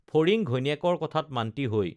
ফৰিং ঘৈণীয়েকৰ কথাত মান্তি হৈ